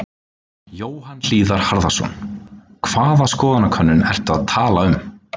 Jóhann Hlíðar Harðarson: Hvaða skoðanakönnun ertu að tala um?